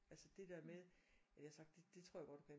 Altså det der med at jeg har sagt det det tror jeg godt du kan